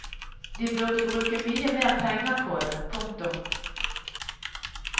De burde bruke mye mer penger på det. punktum